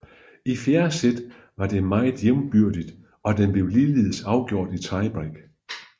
I fjerde sæt var det meget jævnbyrdigt og den blev ligeledes afgjort i tiebreak